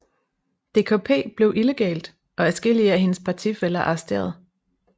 DKP blev illegalt og adskillige af hendes partifæller arresteret